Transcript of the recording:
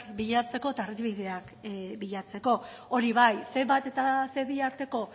bilatzeko eta argibideak bilatzeko hori bai ce bat eta ce bi arteko